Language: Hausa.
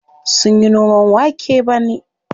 Sunyi noman wake bane.